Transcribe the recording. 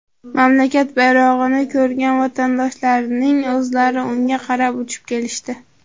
Mamlakat bayrog‘ini ko‘rgan vatandoshlarning o‘zlari unga qarab uchib kelishdi.